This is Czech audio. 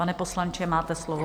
Pane poslanče, máte slovo.